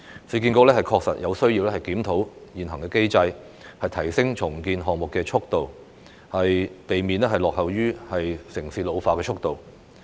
市建局確實有需要檢討現行機制，提升重建項目的速度，避免落後於城市的老化速度。